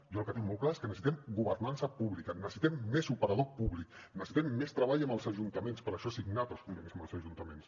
jo el que tinc molt clar és que necessitem governança pública necessitem més operador públic necessitem més treball amb els ajuntaments per això he signat els convenis amb els ajuntaments